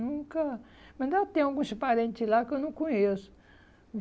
Nunca... Ainda tem alguns parente lá que eu não conheço.